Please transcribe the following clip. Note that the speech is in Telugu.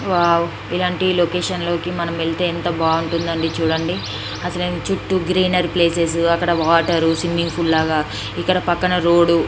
వావ్ ఇలాంటి లొకేషన్ లోకి మనం వెళ్తే ఎంత బాగుంటుంది. చూడండి అసలు చుట్టూ గ్రీనరీ ప్లేసెస్ అక్కడ వాటరు స్విమ్మింగ్ ఫుల్ లాగా ఇక్కడ పక్కన రోడ్డు --